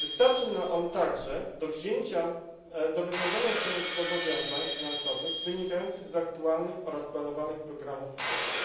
Wystarczy on także do wywiązania się ze zobowiązań finansowych wynikających z aktualnych oraz planowanych programów i działań.